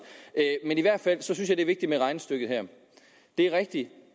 i hvert fald synes jeg det er vigtigt med regnestykket her det er rigtigt